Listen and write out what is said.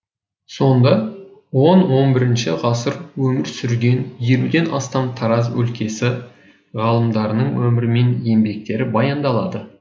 сонда он он бірінші ғасыр өмір сүрген елуден астам тараз өлкесі ғалымдарының өмірі мен еңбектері баяндалады